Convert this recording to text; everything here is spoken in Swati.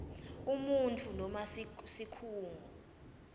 umuntfu noma sikhungo